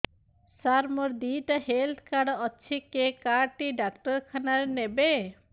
ସାର ମୋର ଦିଇଟା health card ଅଛି କେ କାର୍ଡ ଟି ଡାକ୍ତରଖାନା ରେ ନେବେ